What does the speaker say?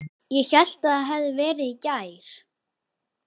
Ég hélt það hefði verið í gær.